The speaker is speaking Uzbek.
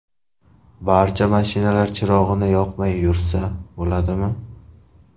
Barcha mashinalar chirog‘ini yoqmay yursa bo‘ladimi?